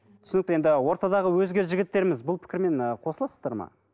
түсінікті енді ортадағы өзге жігіттеріміз бұл пікірмен ы қосыласыздар ма